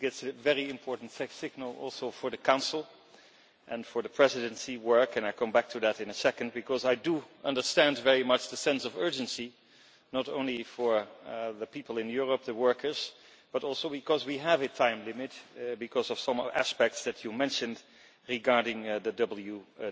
I think it is a very important signal also for the Council and for the Presidency work and I will come back to that in a second because I do understand very much the sense of urgency, not only for the people, the workers, in Europe, but also because we have a time limit because of some aspects that you mentioned regarding the WTO.